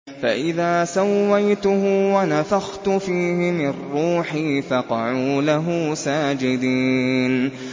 فَإِذَا سَوَّيْتُهُ وَنَفَخْتُ فِيهِ مِن رُّوحِي فَقَعُوا لَهُ سَاجِدِينَ